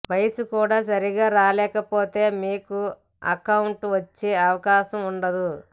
వయస్సు కూడా సరిగ్గా రాయలేకపోతే మీకు అకౌంట్ వచ్చే అవకాశం ఉండదు